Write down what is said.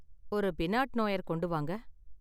ஒரு pinot noir கொண்டு வாங்க